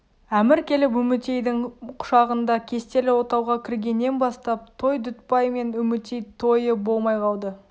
әмір келіп үмітейдң құшағында кестелі отауға кіргеннен бастап той дүтбай мен үмітей тойы болмай қалды